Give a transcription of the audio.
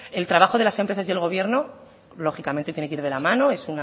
el trabajo de las empresas y el gobierno lógicamente tiene que ir de la mano es